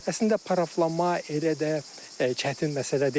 Əslində paraflanma elə də çətin məsələ deyil.